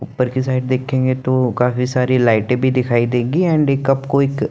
ऊपर की साइड देखेंगे तो काफी सारी लाइटे भी दिखाई देंगी एंड कप कोई एक--